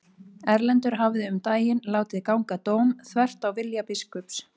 Erlendur hafði um daginn látið ganga dóm þvert á vilja biskups.